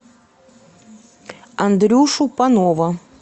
андрюшу панова